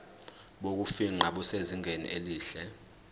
bokufingqa busezingeni elihle